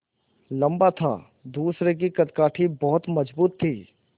लम्बा था दूसरे की कदकाठी बहुत मज़बूत थी